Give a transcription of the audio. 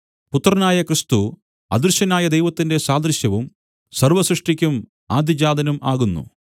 പുത്രനായ ക്രിസ്തു അദൃശ്യനായ ദൈവത്തിന്റെ സാദൃശ്യവും സർവ്വസൃഷ്ടിക്കും ആദ്യജാതനും ആകുന്നു